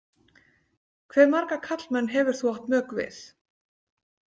Hve marga karlmenn hefur þú átt mök við?